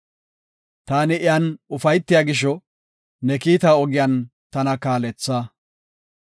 Taani iyan ufaytiya gisho, ne kiita ogiyan tana kaaletha;